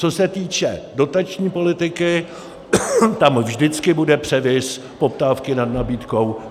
Co se týče dotační politiky, tam vždycky bude převis poptávky nad nabídkou.